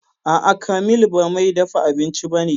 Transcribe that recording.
A'a, Kamil ba mai dafa abinci ba ne